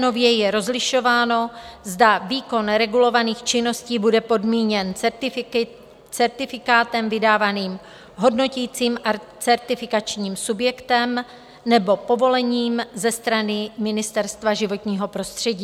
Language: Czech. Nově je rozlišováno, zda výkon regulovaných činností bude podmíněn certifikátem vydaným hodnotícím a certifikačním subjektem nebo povolením ze strany Ministerstva životního prostředí.